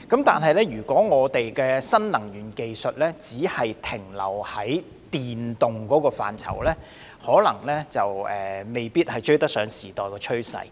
不過，如果新能源技術只限於電能的範疇，可能未必追得上時代的趨勢。